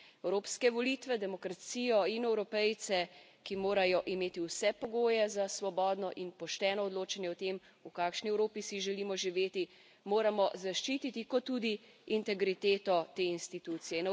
Evropske volitve, demokracijo in Evropejce, ki morajo imeti vse pogoje za svobodno in pošteno odločanje o tem, v kakšni Evropi si želimo živeti, moramo zaščititi kot tudi integriteto te institucije.